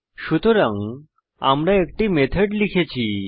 সুতরাং আমরা একটি মেথড লিখেছি